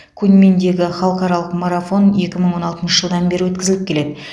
куньминдегі халықаралық марафоны екі мың он алтыншы жылдан бері өткізіліп келеді